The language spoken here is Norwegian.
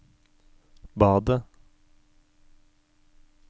badet